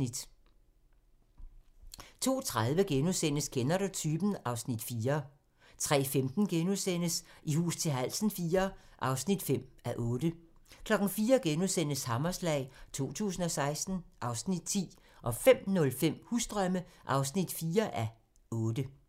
02:30: Kender du typen? (Afs. 4)* 03:15: I hus til halsen IV (5:8)* 04:00: Hammerslag 2016 (Afs. 10)* 05:05: Husdrømme (4:8)